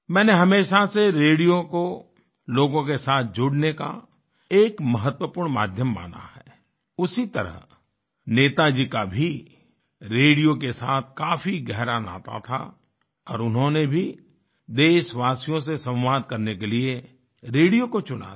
मैंने हमेशा से रेडियो को लोगों के साथ जुड़ने का एक महत्वपूर्ण माध्यम माना है उसी तरह नेताजी का भी रेडियो के साथ काफी गहरा नाता था और उन्होंने भी देशवासियों से संवाद करने के लिए रेडियो को चुना था